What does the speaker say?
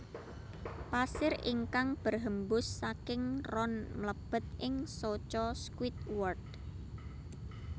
Pasir ingkang berhembus saking ron mlebet ing soco Squidward